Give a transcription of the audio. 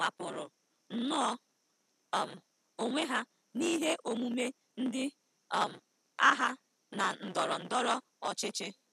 Ha kewapụrụ nnọọ um onwe ha n'ihe omume ndị um agha na ndọrọ ndọrọ ọchịchị.